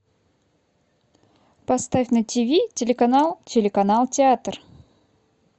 поставь на тв телеканал театр